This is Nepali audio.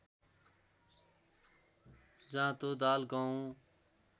जाँतो दाल गहुँ